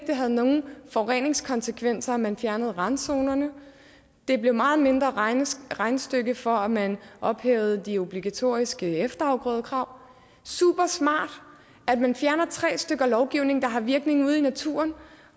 det havde nogen forureningskonsekvenser at man fjernede randzonerne det blev et meget mindre regnestykke regnestykke for at man ophævede de obligatoriske efterafgrødekrav super smart at man fjerner tre stykker lovgivning der har virkning ude i naturen